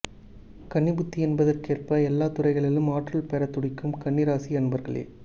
கன்னி புத்தி என்பதற்கேற்ப எல்லாத் துறைகளிலும் ஆற்றல் பெற துடிக்கும் கன்னி ராசி அன்பர்களே